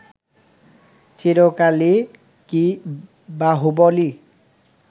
চিরকালই কি বাহুবলই